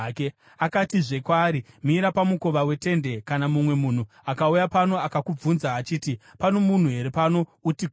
Akatizve kwaari, “Mira pamukova wetende. Kana mumwe munhu akauya pano akakubvunza achiti, ‘Pano munhu here pano?’ uti, ‘Kwete.’ ”